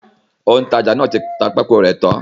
Òǹtajà náà ti ta pákó rẹ̀ tán.